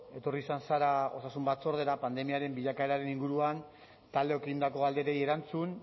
etorri izan zara osasun batzordera pandemiaren bilakaeraren inguruan taldeok egindako galderei erantzun